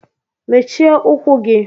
mechie ụkwụ gị!!